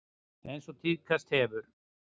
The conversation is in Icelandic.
Eins og tíðkast hefur.